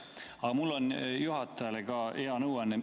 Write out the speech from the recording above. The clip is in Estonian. Aga mul on juhatajale ka hea nõuanne.